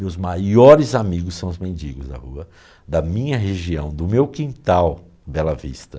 Meus maiores amigos são os mendigos da rua, da minha região, do meu quintal, Bela Vista.